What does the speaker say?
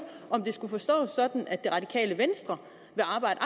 om det skulle forstås sådan at det radikale venstre vil arbejde